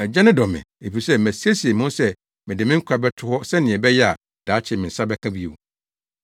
Agya no dɔ me efisɛ masiesie me ho sɛ mede me nkwa bɛto hɔ sɛnea ɛbɛyɛ a daakye me nsa bɛka bio.